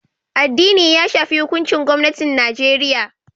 Addini ya shafi hukuncin gwamnatin Najeriya